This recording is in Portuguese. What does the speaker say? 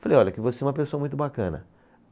Falei, olha, que você é uma pessoa muito bacana.